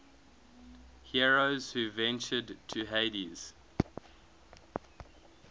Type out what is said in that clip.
heroes who ventured to hades